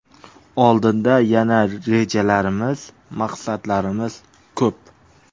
Oldinda yana rejalarimiz, maqsadlarimiz ko‘p.